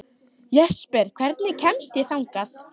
Jesper, hvernig kemst ég þangað?